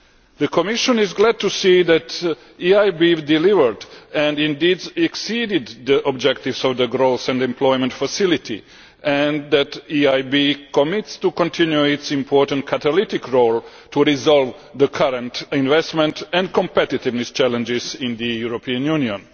The Commission is glad to see that the EIB delivered and indeed exceeded the objectives of the Growth and Employment Facility and that the EIB commits to continue its important catalytic role to resolve the current investment and competitiveness challenges in the European Union.